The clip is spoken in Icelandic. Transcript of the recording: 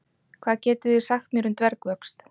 Hvað getið þið sagt mér um dvergvöxt?